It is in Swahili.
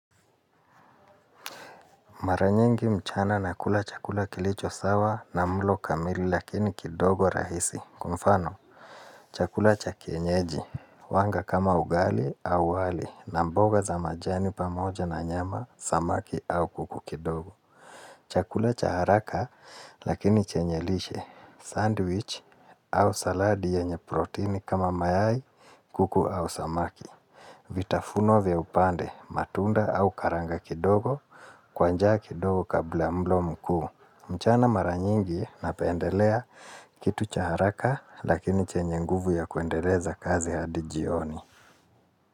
Mara nyingi mchana nakula chakula kilicho sawa na mlo kamili lakini kidogo rahisi. Kwa mfano, chakula cha kienyeji. Huanga kama ugali au wali na mboga za majani pamoja na nyama, samaki au kuku kidogo. Chakula cha haraka lakini chenye lishe. Sandwich au saladi yenye protini kama mayai, kuku au samaki. Vitafuno vya upande, matunda au karanga kidogo kwanja kidogo kabla mlo mkuu. Mchana mara nyingi napendelea kitu cha haraka lakini chenye nguvu ya kuendeleza kazi hadi jioni.